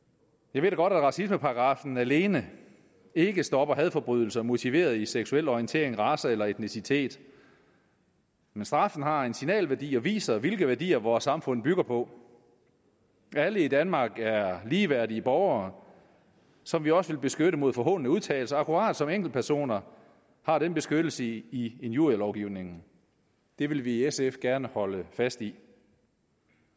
jeg ved godt at racismeparagraffen alene ikke stopper hadforbrydelser motiveret i seksuel orientering race eller etnicitet men straffen har en signalværdi og viser hvilke værdier vores samfund bygger på alle i danmark er ligeværdige borgere som vi også vil beskytte mod forhånende udtalelser akkurat som enkeltpersoner har den beskyttelse i injurielovgivningen det vil vi i sf gerne holde fast i